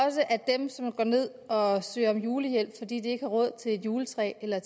også at dem som går ned og søger om julehjælp fordi de ikke har råd til et juletræ eller